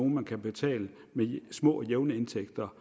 man kan betale med små og jævne indtægter